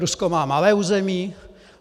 Rusko má malé území?